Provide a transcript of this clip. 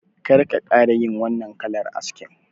Kar ka ƙara yin wannan kalar askin